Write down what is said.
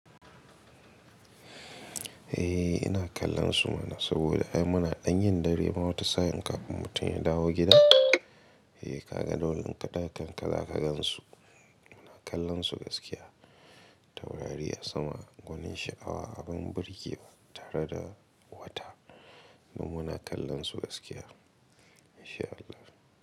Eh ina kallon su mana saboda ai muna ɗan yin dare ma wata sa'in kafin mutum ya dawo gida. Eh ka ga dole in ƙa ɗaga ƙanka za ka gan su. Muna kallon su gaskiya. Taurari a sama, gonin sha'awa, abin burgewa tare da wata. Don muna kallon su gaskiya in sha Allah.